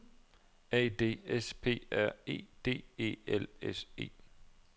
A D S P R E D E L S E